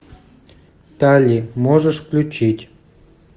талли можешь включить